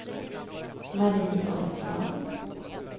Marie Östman